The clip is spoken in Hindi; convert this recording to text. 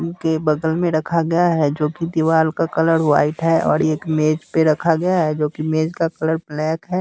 इनके बगल में रखा गया है जो की दीवार का कलर वाइट है और एक मेज़ पे रखा गया है जो की मेज़ का कलर ब्लैक है।